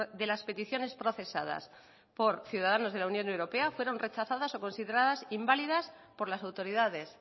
de las peticiones procesadas por ciudadanos de la unión europea fueron rechazadas o consideradas inválidas por las autoridades